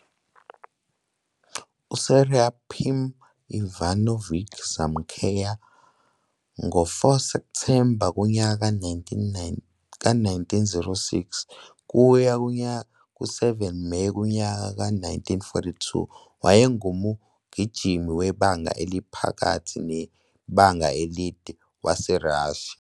USeraphim Ivanovich Znamensky, 4 Septhemba 1906 - 7 Meyi 1942, wayengumgijimi webanga eliphakathi nebanga elide waseRussia.